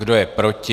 Kdo je proti?